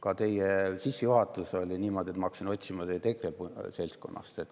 Ka teie sissejuhatus oli niisugune, et ma hakkasin teid otsima EKRE seltskonna seast.